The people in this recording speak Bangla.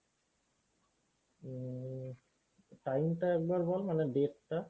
উম time টা একবার বল মানে date টা?